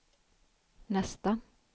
nästa